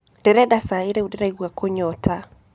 Ndĩreda caĩ rĩũ ndĩraigua kũnyota